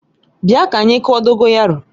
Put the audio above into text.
Bia ka anyi kụọ Dogoyaro!